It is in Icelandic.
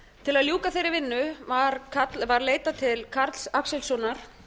til að ljúka þeirri vinnu hafi iðnaðarráðherra leitað til hæstaréttarlögmannanna karls axelssonar